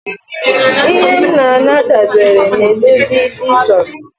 Ihe m na-ana dabere na edozi isi ị chọrọ